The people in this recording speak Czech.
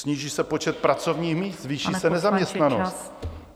Sníží se počet pracovních míst, zvýší se nezaměstnanost.